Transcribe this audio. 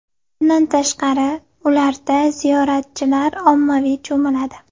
Bundan tashqari, ularda ziyoratchilar ommaviy cho‘miladi.